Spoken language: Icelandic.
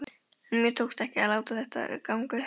En mér tókst ekki að láta þetta ganga upp.